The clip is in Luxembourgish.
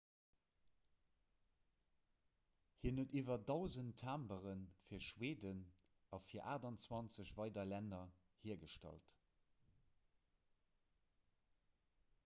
hien huet iwwer 1 000 timbere fir schweden a fir 28 weider länner hiergestallt